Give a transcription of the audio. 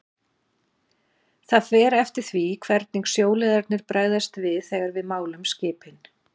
Það fer eftir því hvernig sjóliðarnir bregðast við þegar við málum skipin